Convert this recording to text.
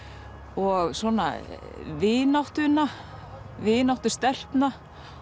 og svona vináttuna vináttu stelpna